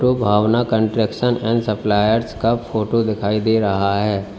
Bhavna construction and suppliers का photo दिखाई दे रहा है।